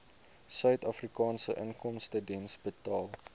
suidafrikaanse inkomstediens betaal